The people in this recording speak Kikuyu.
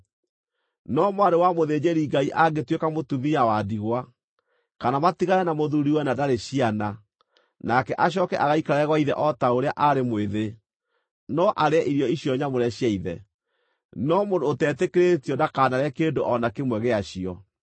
No mwarĩ wa mũthĩnjĩri-Ngai angĩtuĩka mũtumia wa ndigwa, kana matigane na mũthuuriwe na ndarĩ ciana, nake acooke agaikare gwa ithe o ta rĩrĩa aarĩ mwĩthĩ, no arĩe irio icio nyamũre cia ithe. No mũndũ ũtetĩkĩrĩtio, ndakanarĩe kĩndũ o na kĩmwe gĩacio.